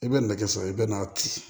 I bɛ nɛgɛ sɔrɔ i bɛ n'a ci